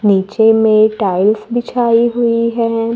नीचे में टाइल्स बिछाई हुई है।